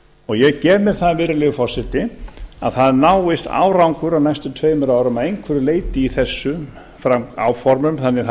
og ég gef mér það virðulegi forseti að það náist árangur á næstu tveimur árum að einhverju leyti í þessum áformum þannig að það